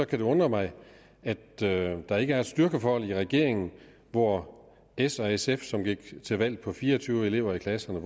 kan det undre mig at der ikke er et styrkeforhold i regeringen hvor s og sf som gik til valg på fire og tyve elever i klasserne